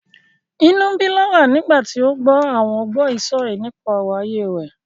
Inú ń bí Laura nígbà tí ó gbọ́ àwọn gbọ́yìísọ̀yìí nípa ọ̀rọ̀ ayé rẹ̀.